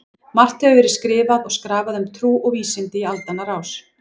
Margt hefur verið skrifað og skrafað um trú og vísindi í aldanna rás.